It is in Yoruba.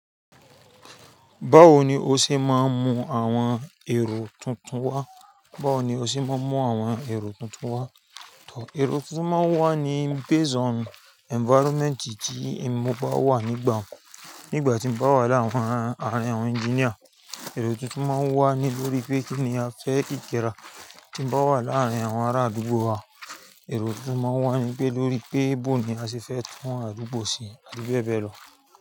Báwo ni o ṣe máa ń mú àwọn èrò tuntun wá? Báwo ni o ṣe máa ń mú àwọn èrò tuntun wá? Ẹ̀rọ tuntun máa ń wá ní base on environment tí mo bá wà nígbà kan. Nígbà tí mo bá wà láàárín àwọn engineer, ẹ̀rò tuntun máa wá ní lórí pé kí ni a fẹ́ kíkẹra Tí mo bá wà láàárín àwọn ará àdúgbò wa, ẹ̀rọ tuntun máa wá ní pé lórí pé bó ní a ṣe fẹ́ tún àdúgbò se àti bẹ́ẹ̀ bẹ́ẹ̀ lọ.